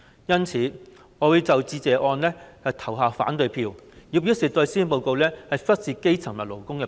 因此，我會就致謝議案投下反對票，以表示不滿施政報告忽視基層和勞工。